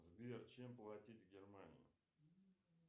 сбер чем платить в германии